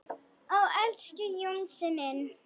Ó, elsku Jónsi minn.